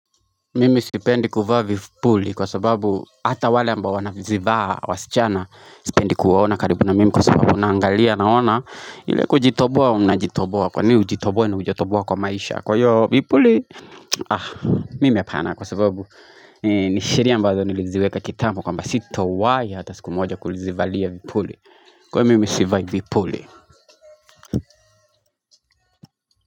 Mimi sipendi kuvaa vipuli kwa sababu hata wale ambao wana zivaa wasichana sipendi kuwaona karibu na mimi kwa sababu unangalia naona ile kujitoboa unajitoboa kwa ni ujitoboe na ujotoboa kwa maisha kwa yoo vipuli Ah mime pana kwa sababu ni sheria ambazo niliziweka kitambo kwamba sito wae hata siku moja kulizivalia vipuli kwa mimi sivai vipuli.